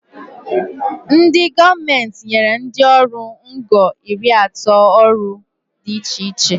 Ndị gọọmenti nyere ndị ọrụ ngo iri atọ ọrụ dị iche iche